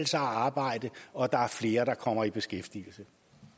sig at arbejde og at der er flere der kommer i beskæftigelse